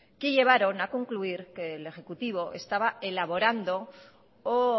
que llevaron a concluir que el ejecutivo estaba elaborando o